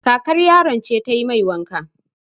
Kakar yaron ce ta yi mai wanka.